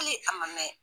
Hali a ma mɛn